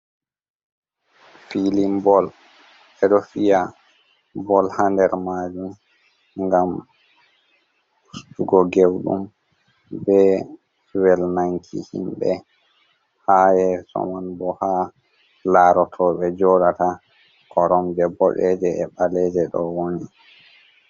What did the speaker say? Filin bol ɓe ɗo fiya bol ha nder majum ngam ustugo gewdum be walnanki nanki himɓe ha yeso man bo ha laroɓe joɗata, koromje bodeje e ɓaleje ɗo woni.